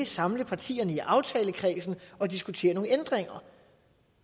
samle partierne i aftalekredsen og diskutere de ændringer